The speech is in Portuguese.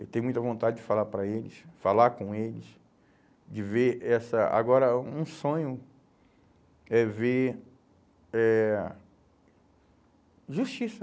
Eu tenho muita vontade de falar para eles, falar com eles, de ver essa... Agora, um sonho é ver, é justiça.